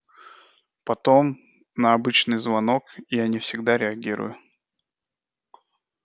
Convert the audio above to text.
потом на обычный звонок я не всегда реагирую